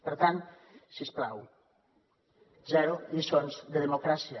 per tant si us plau zero lliçons de democràcia